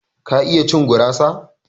ka iya cin gurasa?